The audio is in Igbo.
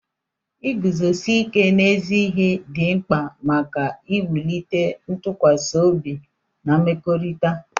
Iguzosi ike n'ezi ihe dị mkpa maka iwulite ntụkwasị obi na mmekọrịta.